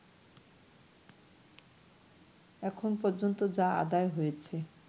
এখন পর্যন্ত যা আদায় হয়েছে